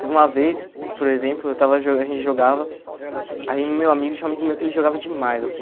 Teve uma vez, por exemplo, eu estava jo a gente jogava, aí meu amigo, tinha um amigo meu que ele jogava demais, assim.